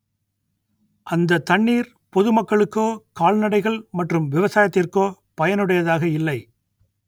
அந்த தண்ணீர் பொது மக்களுக்கோ கால்நடைகள் மற்றும் விவசாயத்திற்கோ பயனுடையதாக இல்லை